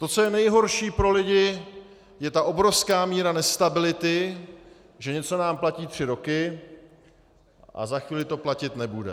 To, co je nejhorší pro lidi, je ta obrovská míra nestability, že něco nám platí tři roky a za chvíli to platit nebude.